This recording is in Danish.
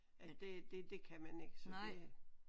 Men det det det kan man ikke så det